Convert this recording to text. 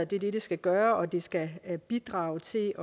det det skal gøre det skal bidrage til